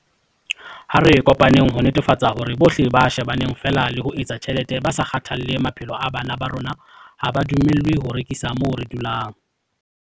Ha re kopaneng ho netefatsa hore bohle ba shebaneng feela le ho etsa tjhelete ba sa kgathalle maphelo a bana ba rona ha ba dumellwe ho rekisa moo re dulang.